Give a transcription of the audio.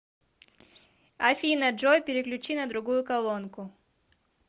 афина джой переключи на другую колонку